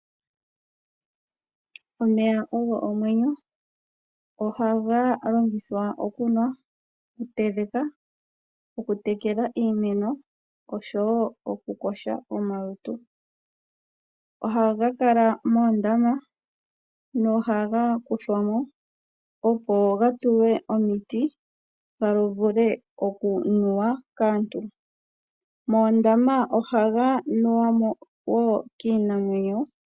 Omeya ogo omwenyo ohaga longithwa okunwa, okuteleka, okutekela iimeno oshowo okukosha omalutu ohaga kala moondama nohaga kuthwamo opo gatulwe omiti gavule okunuwa kaantu, moondama ohaga nuwamo woo kiinamwenyo.